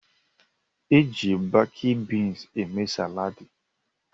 Eji bakid beans eme salaadi.